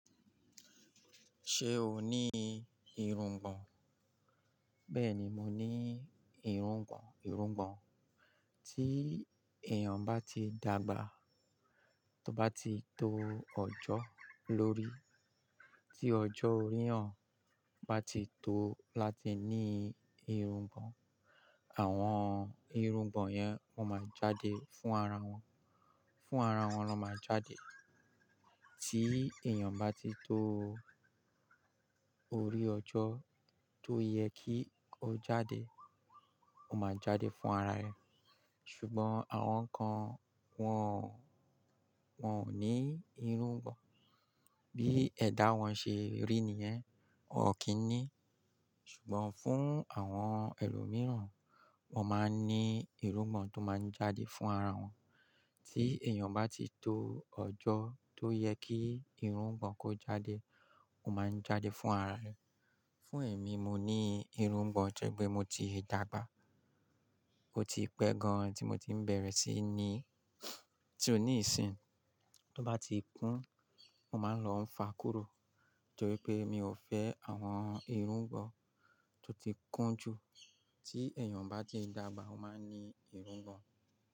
Ṣé o ní irungbọ̀n? Bẹ́ẹ̀ni, mo ní irungbọ̀n. Irungbọ̀n tí èèyàn bá ti dàgbà, tó bá ti to ọjọ́ lórí, tí ọjọ́ orí èyàn bá ti tó láti ní irungbọ̀n, àwọn irungbọ̀n yẹn wọ́n máa jáde fún ara wọn, fún ara wọn lọ máa jáde. Tí èèyàn bá ti tó orí ọjọ́ tó yẹ kí ó jáde, ó máa jáde fún ara rẹ̀. Ṣùgbọ́n àwọn kan wọ́n ò, wọ́n ò ní irungbọ̀n. Bí ẹ̀dá wọn ṣe rí nìyẹn, wọ́n ò kí n ní. Ṣùgbọ́n fún àwọn ẹlòmíràn, wọ́n máa ń ní irungbọ̀n tó máa ń jáde fún ara wọn. Tí èèyàn bá ti tó ọjọ́ tó yẹ kí irungbọ̀n kó jáde, ó máa ń jáde fún ara rẹ̀. Fún èmi, mo ní irungbọ̀n, tó jẹ́ pé mo ti dàgbà. Ó ti pẹ́ gan tí mo ti ń bẹ̀rẹ̀ sí ní-- tí ó ní ìsìn, tó bá ti kún, mo máa ń lọ ń fa kúrò torí pé mi ò fẹ́ àwọn irungbọ̀n tó ti kún jù. Tí èèyàn bá ti dàgbà, ó máa ní irungbọ̀n.